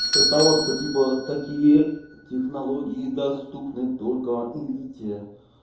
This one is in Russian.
насчёт того что типа такие технологии доступны только элите